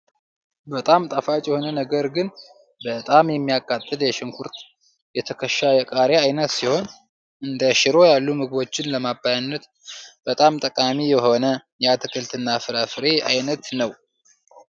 በጣም ጣፋጭ የሆነ ነገር ግን በጣም ሚያቃጥል በሽንኩርት የተከሻ የቃሪያ አይነት ሲሆን እንደ ሽሮ ያሉ ምግቦችን ለማባያነት በጣም ጠቃሚ የሆነ የአትክልትና ፍራፍሬ አይነት ነው።